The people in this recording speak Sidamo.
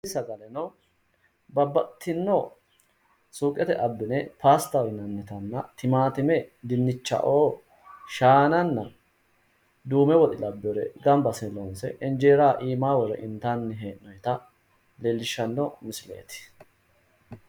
Tini sagaleno babbaxitino suuqete abine pasitaho yinannitana timaatime dinichao shaananna duume woxe labinore gamba asine loonise injeera iimaani wore initanni he'nnoyita leelishano misileti